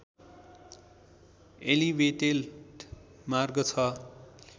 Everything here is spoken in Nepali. एलिवेटेड मार्ग छ